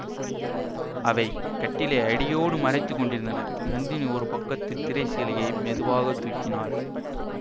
அவை கட்டிலை அடியோடு மறைத்து கொண்டிருந்தன நந்தினி ஒரு பக்கத்துத் திரை சீலையை மெதுவாக தூக்கினாள்